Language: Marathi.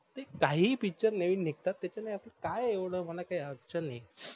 काहीही पिक्चर नवीन निघतात तेच्यान आपल काही येवड होण काही अडचण नाही.